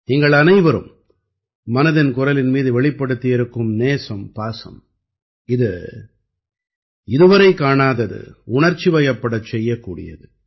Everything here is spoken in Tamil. நீங்கள் அனைவரும் மனதின் குரலின் மீது வெளிப்படுத்தியிருக்கும் நேசம் பாசம் இது இதுவரை காணாதது உணர்ச்சிவயப்படச் செய்யக்கூடியது